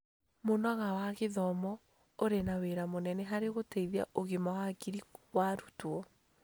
Mũnango wa gĩthoma ũrĩ na wĩra mũnene harĩ gũteithia ũgima wa hakiri wa arutwo.